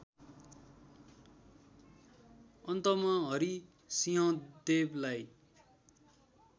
अन्तमा हरिसिंहदेवलाई